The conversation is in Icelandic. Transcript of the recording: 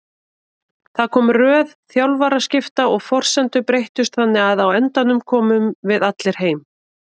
Það kom röð þjálfaraskipta og forsendur breyttust þannig að á endanum komum við allir heim.